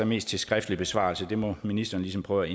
mest til skriftlig besvarelse men det må ministeren ligesom prøve